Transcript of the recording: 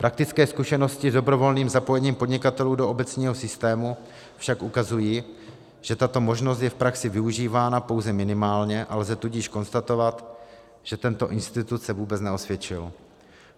Praktické zkušenosti s dobrovolným zapojením podnikatelů do obecního systému však ukazují, že tato možnost je v praxi využívána pouze minimálně, a lze tudíž konstatovat, že tento institut se vůbec neosvědčil.